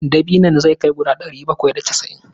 Dabinon zai kai guda ɗari bakwai da casa'in.